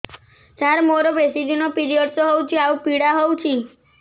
ସାର ମୋର ବେଶୀ ଦିନ ପିରୀଅଡ଼ସ ହଉଚି ଆଉ ପୀଡା ହଉଚି